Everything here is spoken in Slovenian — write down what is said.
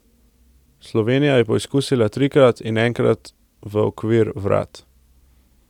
Slovenija je poizkusila trikrat in enkrat v okvir vrat.